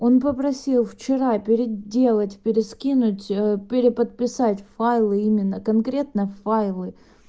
он попросил вчера переделать перескинуть переподписать файлы именно конкретно файлы